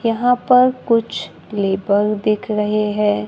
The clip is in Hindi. यहाँ पर कुछ लेबल दिख रहे है।